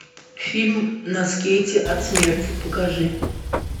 фильм на скейте от смерти покажи